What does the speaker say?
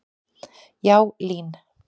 Já, LÍN.